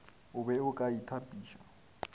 o be o ka itapiša